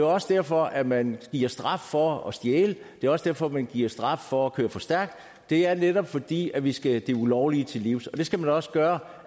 også derfor at man giver straf for at stjæle det er også derfor man giver straf for at køre for stærkt det er netop fordi vi skal det ulovlige til livs og det skal man også gøre